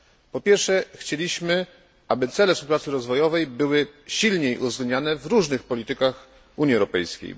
Po pierwsze, chcieliśmy, aby cele współpracy rozwojowej były silniej uwzględniane w różnych politykach Unii Europejskiej.